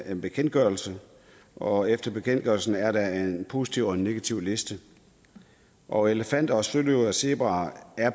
en bekendtgørelse og efter bekendtgørelsen er der en positiv og en negativliste og elefanter søløver og zebraer er